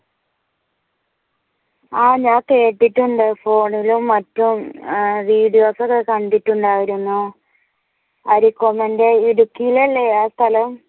ആ ഞാൻ കേട്ടിട്ടുണ്ട് ഫോണിലും മറ്റും വീഡിയോസ് ഒക്കെ കണ്ടിട്ടുണ്ട് അരികൊമ്പന്റെ ഇടുക്കിയിൽ അല്ലെ ആ സ്ഥലം?